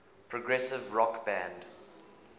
progressive rock band